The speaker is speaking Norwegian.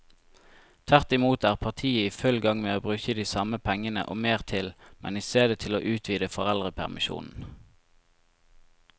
Tvert imot er partiet i full gang med å bruke de samme pengene og mer til, men i stedet til å utvide foreldrepermisjonen.